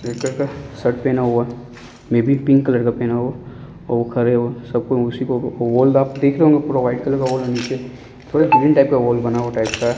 Red colour का shirt पहना हुआ है। मे बी पिंक कलर का पहना हुआ और वो खड़े हुआ सब कोई उसी को वॉल आप देख रहे होंगे पूरा व्हाइट कलर का वॉल है नीचे थोड़ा ग्रीन टाइप का वॉल बना हुआ टाइप का है।